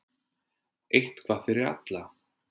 Eitthvað fyrir alla